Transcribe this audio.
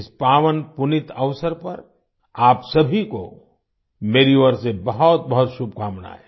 इस पावनपुनीत अवसर पर आप सभी को मेरी ओर से बहुतबहुत शुभकामनाएं